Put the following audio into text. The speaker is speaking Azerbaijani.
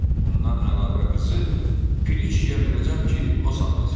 Ondan əlavə qızı piri kişiyə verəcəm ki, o saxlasın.